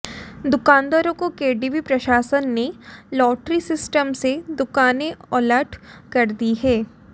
दुकानदारों को केडीबी प्रशासन ने लाटरी सिस्टम से दुकानें अलाट कर दी हैं